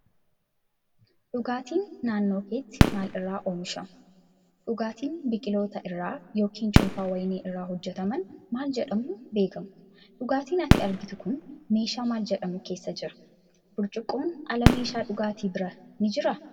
Dhugaatiin naannoo keetti maal irraa oomishamu? Dhugaatiin biqiloota irraa yookiin cuunfaa wayinii irraa hojjetaman maal jedhamuun beekamu? Dhugaatiin ati argitu kun meeshaa maal jedhamu keessa jira? Burcuqqoon ala meeshaan dhugaatii biraa ni jiraa?